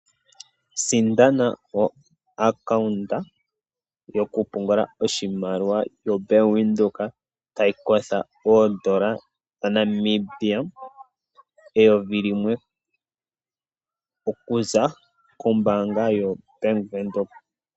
Sindana oaccount yokupungula oshimaliwa yoBank Windhoek, tayi kotha oodola dhaNamibia eyovi limwe okuza kombaanga yoBank Windhoek.